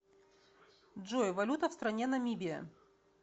джой валюта в стране намибия